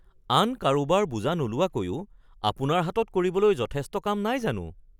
আন কাৰোবাৰ বোজা নোলোৱাকৈয়ো আপোনাৰ হাতত কৰিবলৈ যথেষ্ট কাম নাই জানো